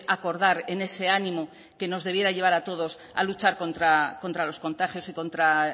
acordar en ese ánimo que nos debiera llevar a todos a luchar contra los contagios y contra